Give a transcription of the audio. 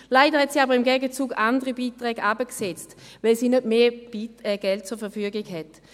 Leider hat sie aber im Gegenzug andere Beiträge heruntergesetzt, weil sie nicht mehr Geld zur Verfügung hat.